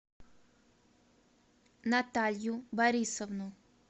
наталью борисовну